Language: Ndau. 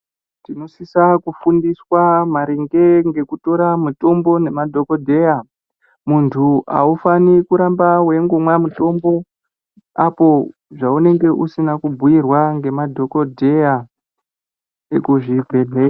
Tinosisa kufundiswa maringe ngekutora mutombo nemadhokodheya. Muntu aufani kuramba weingomwa mutombo apo zvaunenge usina kubhuyirwa ngemadhokodheya ekuzvibhedhleya.